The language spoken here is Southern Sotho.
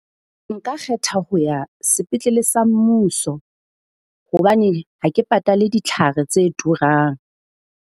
Nka kgetha ho ya sepetlele sa mmuso hobane ha ke patale ditlhare tse turang.